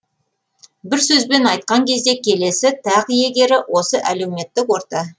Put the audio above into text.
бір сөзбен айтқан кезде келесі тақ иегері осы әлеуметтік орта